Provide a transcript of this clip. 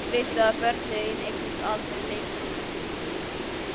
Viltu að börnin þín eignist aldrei leikföng?